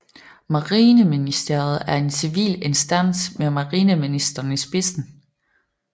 Marineministeriet er en civil instans med Marineministeren i spidsen